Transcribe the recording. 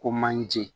Ko manje